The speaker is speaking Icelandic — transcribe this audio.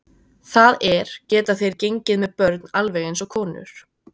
Það er, geta þeir gengið með börn alveg eins og konur?